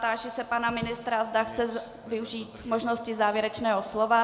Táži se pana ministra, zda chce využít možnosti závěrečného slova.